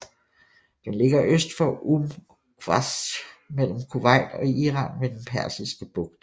Den ligger øst for Umm Qasr mellem Kuwait og Iran ved den Persiske Bugt